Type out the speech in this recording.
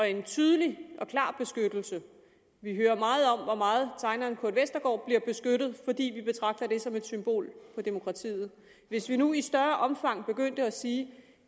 en tydelig og klar beskyttelse vi hører meget om hvor meget tegneren kurt westergaard bliver beskyttet fordi vi betragter det som et symbol på demokratiet hvis vi nu i større omfang begyndte at sige